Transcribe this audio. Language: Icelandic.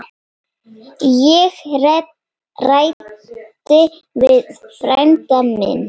Ég ræddi við frænda minn.